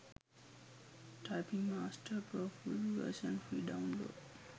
typing master pro full version free download